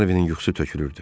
Harvinin yuxusu tökülürdü.